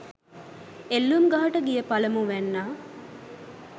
එල්ලූම් ගහට ගිය පළමුවැන්නා